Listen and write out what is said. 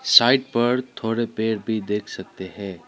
Side पर थोड़े पेड़ भी देख सकते है।